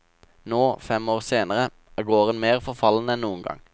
Nå, fem år senere, er gården mer forfallen enn noen gang.